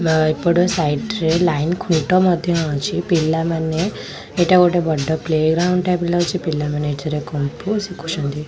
ଏପଟ ସାଇଟ୍ ରେ ଲାଇନ ଖୁଣ୍ଟ ମଧ୍ୟ ଅଛି ପିଲାମାନେ ଏଇଟା ଗୋଟେ ବଡ଼ ପ୍ଲେ ଗ୍ରାଉଣ୍ଡ ଟାଇପ ର ଲାଗୁଚି ପିଲାମାନେ ଏଠାରେ କୁଙ୍ଗଫୁ ଶିଖୁଛନ୍ତି।